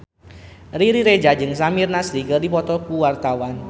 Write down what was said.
Riri Reza jeung Samir Nasri keur dipoto ku wartawan